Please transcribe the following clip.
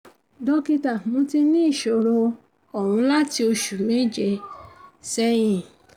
dókítà mo ti ní ìṣòro um ohùn láti oṣù méje um sẹ́yìn